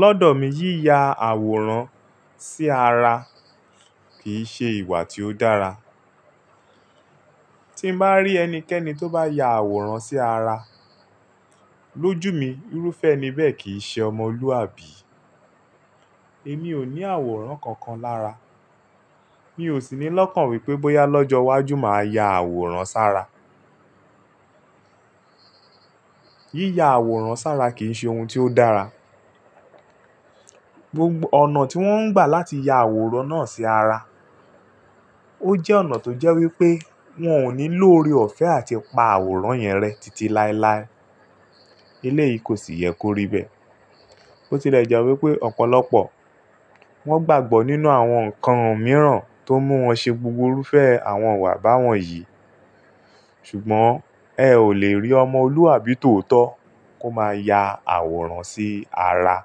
Lọ́dọ̀ mi yíya àwòrán sí ara kì í ṣe ìwà tí ó dára. Tí m bá rí ẹnikẹ́ni tó bá ya àwòrán sí ara, lójú mi irúfẹ́ eni bẹ́ẹ̀ kì í ṣe ọmọlúwàbí. Èmi o ni àwòrán kankan lára, mi o si ni lókàn wipé bóyá lojo wájú maa ya àwòrán s'ára. Yíya àwòrán sára kì í ṣe ohun tí ó dára. Ọ̀nà tí wón ń gbà láti ya àwòrán náà sí ara, ó jẹ́ ọ̀nà tó jẹ́ wípé wón ò ní lo oore-ọ̀fẹ́ àti pa àwòrán yẹn rẹ́ titi láilái. Eléyìí kò sì yẹ kó rí bẹ́ẹ̀. Ó ti lẹ́ jẹ́ wípé ọ̀pọ̀lọpọ̀ wón gbàgbọ́ nínú àwọn ǹkan mìíràn tó mú wọn ṣe gbogbo irúfẹ́ àwọn ìwà bá wọn yìí. Ṣùgbọ́n ẹ ò lè rí ọmọlúwàbí tòótọ́ kó máa ya àwòrán sí ara,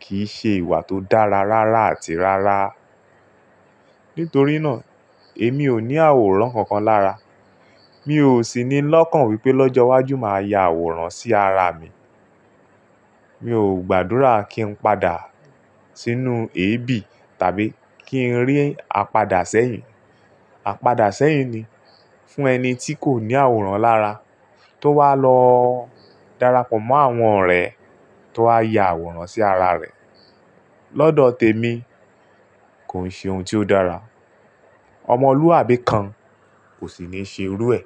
kì í ṣe ìwà tó dára rárá àti rárá. Nítorí náà èmi ò ní àwòrán kankan lára. Mi ò sì ní lọ́kàn wípé lọ́jọ́ iwájú máa ya àwòrán sí ara mi. Mi ò gbàdúrà kí n padà sínú èébì tàbí kí n rí àpadà sẹ́yìn. Àpadà sẹ́yìn ni fún ẹni tí kò ní àwòrán lára tó wá lọ darapọ̀ mọ́ àwọn ọ̀rẹ́ tó wá ya àwòrán sí ara rẹ̀. Lọ́dọ̀ tèmi kò n ṣe ohun tí ó dára. Ọmọlúwàbí kan kò sì ní ṣe irú ẹ.